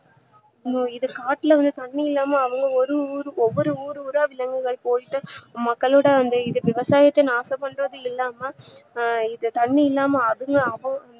காட்டுல வந்து தண்ணீ இல்லாம அவ்வளவு ஒவ்வொரு ஊரு ஊரா விலங்குகள் போய்ட்டு மக்களோட அந்த இத விவசாயத்த நாச பண்றது இல்லாம ஆஹ் இங்க தண்ணி இல்லாம அது அவங்க